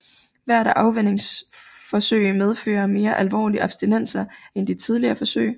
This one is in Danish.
Hvert afvænningsforsøg medfører mere alvorlige abstinenser end de tidligere forsøg